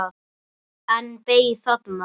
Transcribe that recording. En beið þarna.